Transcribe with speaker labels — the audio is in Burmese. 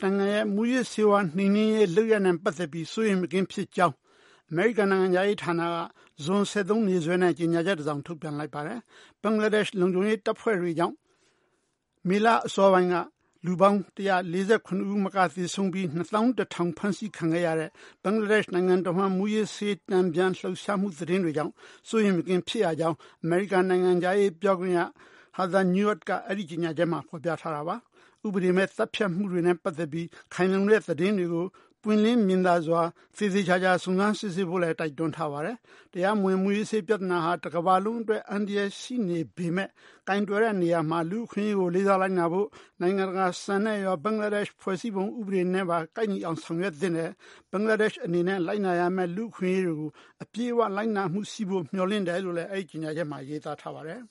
Speaker 1: နိုင်ငံရဲ့ မူးယစ်ဆေးဝါးနှိမ်နှင်းရေးလုပ်ရပ်နဲ့ပတ်သက်ပြီး စိုးရိမ်မကင်းဖြစ်ကြောင်း အမေရိကန်နိုင်ငံခြားရေးဌာနက ဇွန် ၁၃ နေ့စွဲနဲ့ ကြေညာချက်တစ်စောင် ထုတ်ပြန်လိုက်ပါတယ်၊၊ ဘင်္ဂလားဒေ့ရှ်လုံခြုံရေးတပ်ဖွဲ့တွေကြောင့် မေလအစောပိုင်းက လူပေါင်း ၁၄၇ ဦး မကသေဆုံးပြီး ၂၁၀၀၀ ဖမ်းဆီးခံခဲ့ရတဲ့ ဘင်္ဂလားဒေ့ရှ်နိုင်ငံတဝှမ်းမူးယစ်ဆေး တန်ပြန်လှှုပ်ရှားမှှုသတင်းတွေကြောင့် စိုးရိမ်မကင်းဖြစ်ရကြောင်း အမေရိကန်နိုင်ငံခြားရေးပြောခွင့်ရHeather Nauert ကအဲဒီကြေညာချက်မှာဖော်ပြထားတာပါ၊၊ ဥပဒေမဲ့ သတ်ဖြတ်မှှုတွေ နဲ့ပတ်သက်ပြီး ခိုင်လုံတဲ့သတင်းတွေကို ပွင့်လင်းမြင်သာစွာ သေသေချာချာစုံစမ်းစစ်ဆေးဖို့လည်း တိုက်တွန်းထားပါတယ်၊၊ တရားမဝင်မူးယစ်ဆေးပြဿနာဟာ တကမ္ဘာလုံးအတွက် အန္တရာယ်ရှိနေပေမဲ့ ကိုင်တွယ်တဲ့နေရာမှာ လူ့အခွင့်အရေးကိုလေးစားလိုက်နာဖို့၊ နိုင်ငံတကာစံနဲ့ရော ဘင်္ဂလားဒေ့ရှ်ဖွဲ့စည်းပုံဥပဒေနဲ့ပါ ကိုက်ညီအောင်ဆောင်ရွက်သင့်တယ်၊၊ ဘင်္ဂလားဒေ့ရှ်အနေနဲ့လိုက်နာရမယ့် လူ့အခွင့်အရေးတွေကို အပြည့်အဝလိုက်နာမှှုရှိဖို့မျှော်လင့်တယ်လို့ အဲဒီကြေညာချက်မှာရေးသားထားပါတယ်